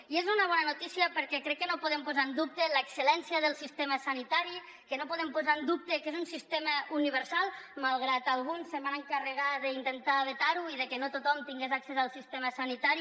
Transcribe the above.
i és una bona notícia perquè crec que no podem posar en dubte l’excel·lència del sistema sanitari que no podem posar en dubte que és un sistema universal malgrat que alguns es van encarregar d’intentar vetar lo i que no tothom tingués accés al sistema sanitari